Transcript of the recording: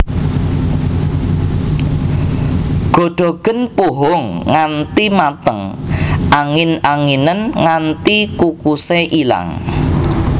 Godhogen puhung nganti mateng angin anginen nganti kukusé ilang